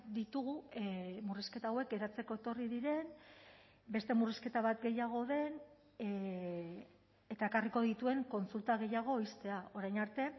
ditugu murrizketa hauek geratzeko etorri diren beste murrizketa bat gehiago den eta ekarriko dituen kontsulta gehiago ixtea orain arte